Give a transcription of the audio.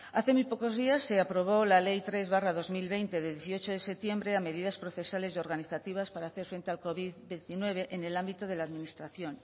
hace muy pocos días se aprobó la ley tres barra dos mil veinte de dieciocho de septiembre a medidas procesales y organizativas para hacer frente al covid diecinueve en el ámbito de la administración